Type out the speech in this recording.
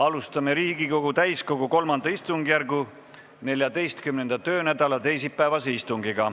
Alustame Riigikogu täiskogu III istungjärgu 14. töönädala teisipäevast istungit.